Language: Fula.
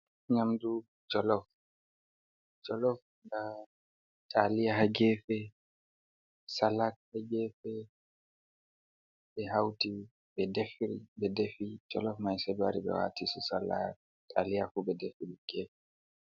"Nyamdu jolof" jolof nda taliya ha gefe salak ha gefe ɓe hauti ɓe ɗefiri be defi jolof mai sai ɓe wati su salak taliya ɓe defiri ha gefe.